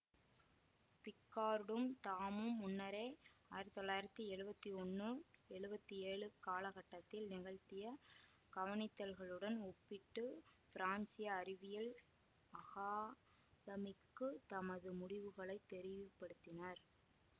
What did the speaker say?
பிக்கார்டும் தாமும் முன்னரே ஆயிரத்தி தொள்ளாயிரத்தி எழுவத்தி ஒன்னு எழுவத்தி ஏழு காலகட்டத்தில் நிகழ்த்திய கவனித்தல்களுடன் ஒப்பிட்டு பிரான்சிய அறிவியல் அகாதமிக்கு தமது முடிவுகளைத் தெரியப்படுத்தினார்